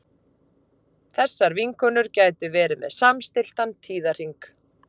Þessar vinkonur gætu verið með samstilltan tíðahring.